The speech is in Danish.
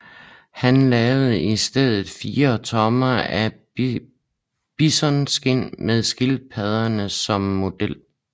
Han lavede i stedet fire trommer af bisonskind med skildpadderne som model